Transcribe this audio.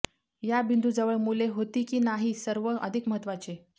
या बिंदूजवळ मुले होती की नाही सर्व अधिक महत्त्वाचे